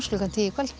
klukkan tíu í kvöld